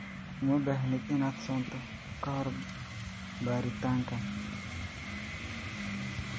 Uma baahnid inaad soonto ka hor baaritaankan.